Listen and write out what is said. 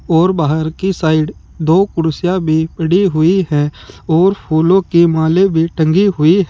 और बाहर की साइड दो कुर्सियां भी पड़ी हुई है और फूलों की मालें भी टंगी हुई--